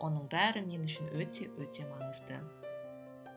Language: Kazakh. оның бәрі мен үшін өте өте маңызды